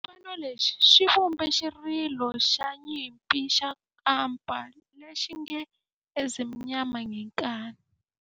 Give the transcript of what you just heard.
Xipano lexi xi vumbe xirilo xa nyimpi xa kampa lexi nge 'Ezimnyama Ngenkani'.